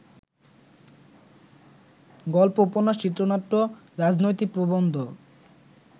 গল্প, উপন্যাস, চিত্রনাট্য, রাজনৈতিক প্রবন্ধ